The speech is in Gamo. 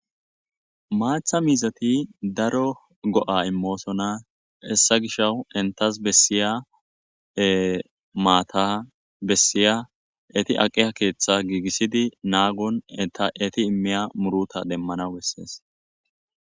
Maththa mizzati daro go'a immosona hessa gishaw entasi bessiya matta enti aqqiya keththa gigisidi nagonni etti emimya murruta demanaw besses.